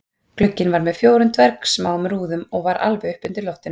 Glugginn var með fjórum dvergsmáum rúðum og var alveg uppi undir loftinu